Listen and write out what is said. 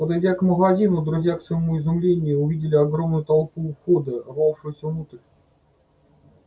подойдя к магазину друзья к своему изумлению увидели огромную толпу у входа рвавшуюся внутрь